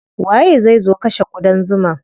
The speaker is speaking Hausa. Waye zai zo kashe ƙudan zuman?